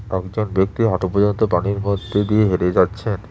একজন ব্যক্তি অটো পর্যন্ত পানির মধ্যে দিয়ে হেঁটে যাচ্ছেন।